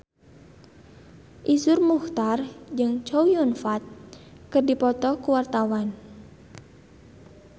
Iszur Muchtar jeung Chow Yun Fat keur dipoto ku wartawan